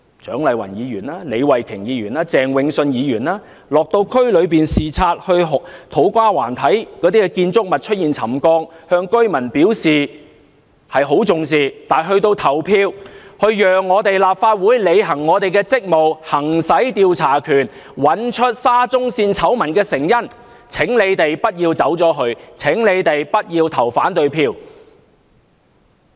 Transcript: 蔣麗芸議員、李慧琼議員及鄭泳舜議員落區視察時，看到土瓜灣的建築物出現沉降，向居民表示很重視，但到投票讓立法會履行職務、行使調查權找出沙中線醜聞的成因時，請他們不要走開，請他們不要投反對票。